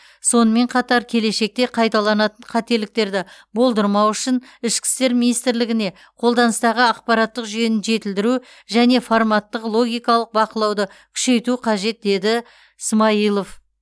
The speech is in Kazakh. сонымен қатар келешекте қайталанатын қателіктерді болдырмау үшін ішкі істер министрлігіне қолданыстағы ақпараттық жүйені жетілдіру және форматтық логикалық бақылауды күшейту қажет деді ә смайылов